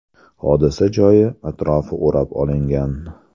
Hodisa joyi atrofi o‘rab olingan.